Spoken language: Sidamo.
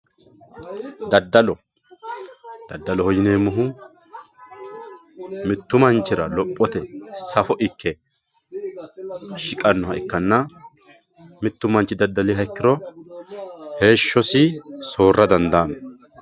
Dadalo dadaloho yinemohu mittu manchira lophote saffo ikke shiqannoha ikana mittu manchi dadaliha ikiro heeshosi soora dandaano.